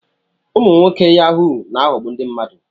Ụmụ nwoke Yahu na-aghọgbu ndị mmadụ.